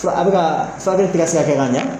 Fura a bɛ ka furakɛli tɛ ka kɛ ka ɲan.